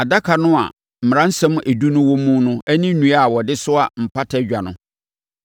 adaka no a Mmaransɛm Edu no wɔ mu ne nnua a wɔde soa Mpata Dwa no;